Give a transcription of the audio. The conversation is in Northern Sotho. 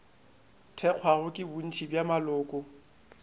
thekgwago ke bontši bja maloko